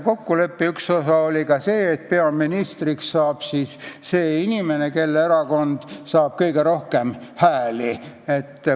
Kokkuleppe üks osi oli see, et peaministriks saab see erakonnajuht, kelle erakond saab kõige rohkem hääli.